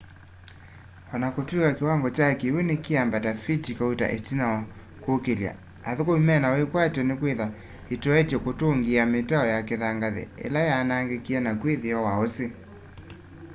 onakutwika kiwango kya kiwu nikiambata fiti kauta itina wa kukilya athukumi mena wikwatyo nikwithwa itoetye kutungiia mitau ya kithangathi ila yaanangikie naku itheo wa usi